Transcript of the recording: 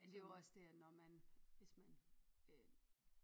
Men det jo også dét at når man hvis man øh